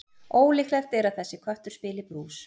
Ólíklegt er að þessi köttur spili brús.